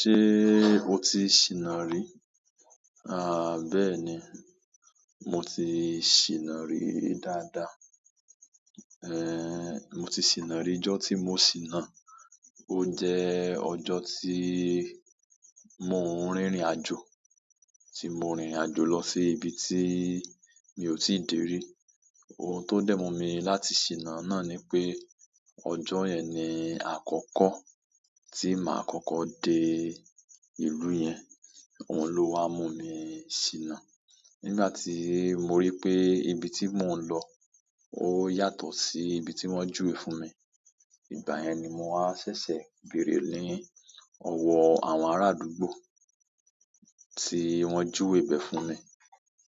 Ṣé o ti ṣìnà rí? À bá è ní, mo ti ṣìnà rí dáadáa. Ẹn moti sina ri, ijọ ti mo sina. Ó jẹ́ ọjọ́ tí mo ń rìnrìn àjò, tí mo rìnrìn àjò lọ sí ibi tí mi ò tíì dé rí. Ohun tó dẹ̀ mú mi láti ṣìnà náà ni pé ọjọ́ yẹn ni àkọ́kọ́ tí mà á kọ́kọ́ dé ìlú yẹn. Oun ló wá mú mi ṣìnà. Nígbà tí mo rí pé ibi tí mò ń lọ ó yàtọ̀ sí ibi tí wọ́n júwe fún mi, ìgbà yẹn ni mo wá ṣẹ̀ṣẹ̀ béèrè ni ọwọ́ àwọn ará àdúgbò tí wọ́n júwe ibẹ̀ fún mi.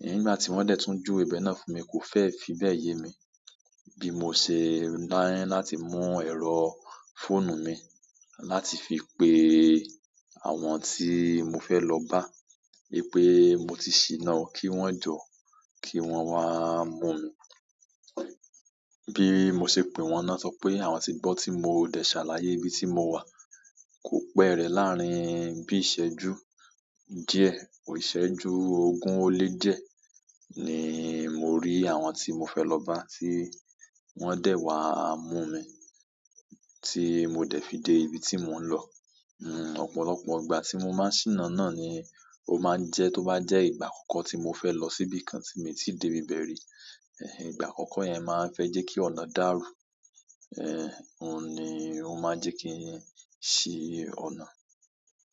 Ẹ̀hìn nígbà tí wọ́n dẹ̀ tún júwe ibẹ̀ náà fún mi, kò fẹ́ fi bẹ́ yé mi. Bí mo ṣe ni láti mú ẹ̀rọ fóònù mi láti fi pe àwọn tí mo fẹ́ lọ bá pé mo ti ṣìnà o, kí wọ́n jọ́, kí wọ́n wá mú mi. Bí mo ṣe pè wọ́n náà sọ pé àwọn ti gbọ́ tí mo dẹ̀ ṣàlàyé ibi tí mo wà. Kò pẹ́ rẹ̀ láàárín bí ìṣẹ́jú díẹ̀, ò ìṣẹ́jú ogún ó lé di ẹ́ ni mo rí àwọn tí mo fẹ́ lọ bá tí wọ́n dẹ̀ wá mú mi, tí mo dẹ̀ fi dé ibi tí mò ń lọ. Hmm, ọ̀pọ̀lọpọ̀ ìgbà tí mo máa ń ṣìnà náà ni ó máa ń jẹ́ tó bá jẹ́ ìgbà àkọ́kọ́ tí mo fẹ́ lọ síbi kan tí mi ò tí dé ibẹ̀ rí. Ẹ̀hìn, ìgbà àkọ́kọ́ yẹn máa ń fẹ́ jẹ́ kí ọ̀nà dàrú. Ehn, òun ni ó máa ń jẹ́ kí n ṣì ọ̀nà.